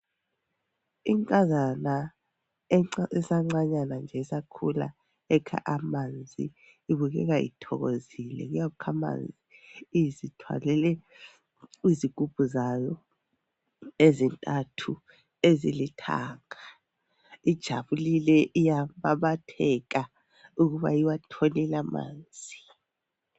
Inkazana esancanyana nje isakhula ekha amanzi ibukeka ithokozile ukuyakukha amanzi izithwalele izigubhu zayo ezintathu ezilithanga ijabulile iyababatheka ukuba iwatholile amanzi.